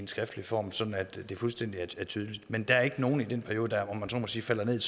skriftlig form sådan at det er fuldstændig tydeligt men der er ikke nogen i den periode der om man så må sige falder ned